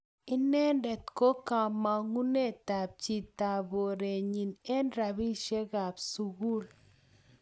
inendet ko ki kamangunetap chitaporenyi eng ropishekap sukul